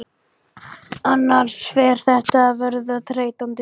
Annars fer þetta að verða þreytandi.